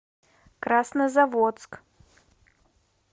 краснозаводск